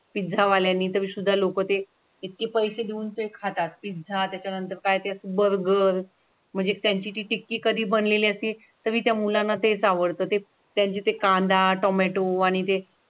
Pizza वाल्यांनी तरी सुद्धा लोक ते किती पैसे देऊन ते खातात झाला त्याच्यानंतर काय बर्गर म्हणजे त्यांची कधी बनलेली असती तर मी त्या मुलांना तेच आवडतं ते त्यांचे कांदा, टोमॅटो आणि ते.